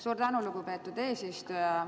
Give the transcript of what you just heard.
Suur tänu, lugupeetud eesistuja!